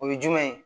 O ye jumɛn ye